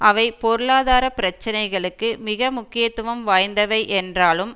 அவை பொருளாதார பரிசீலனைகளுக்கு மிக முக்கியத்துவம் வாய்ந்தவை என்றாலும்